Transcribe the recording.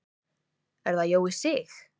Er það Jói Sig?